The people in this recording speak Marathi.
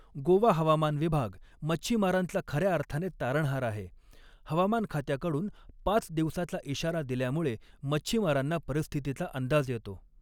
गोवा हवामान विभाग मच्छीमारांचा खऱ्या अर्थाने तारणहार आहे, हवामानखात्याकडून पाच दिवसाचा इशारा दिल्यामुळे मच्छीमारांना परिस्थितीचा अंदाज येतो.